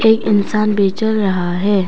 एक इंसान बे चल रहा है।